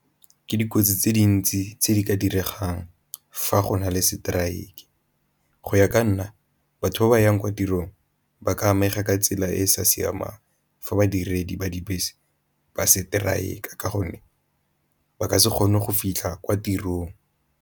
Ke dikotsi tse dintsi tse di ka diregang fa go na le strike, go ya ka nna batho ba ba yang kwa tirong ba ka amega ka tsela e e sa siamang fa badiredi ba dibese ba strike-a ka gonne ba ka se kgone go fitlha kwa tirong.